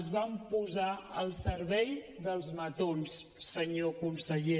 es van posar al servei dels matons senyor conseller